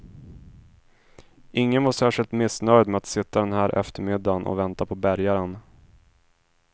Ingen var särskilt missnöjd med att sitta den här eftermiddan och vänta på bärgaren.